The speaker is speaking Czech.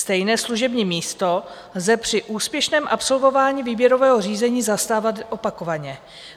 Stejné služební místo lze při úspěšném absolvování výběrového řízení zastávat opakovaně.